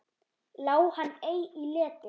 Lá hann ei í leti.